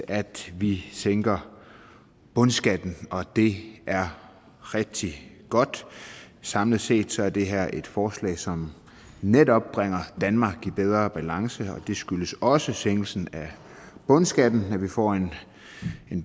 at vi sænker bundskatten og det er rigtig godt samlet set er det her et forslag som netop bringer danmark i bedre balance og det skyldes også sænkelsen af bundskatten at vi får en